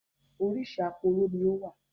Orísìí aporó ni ó wà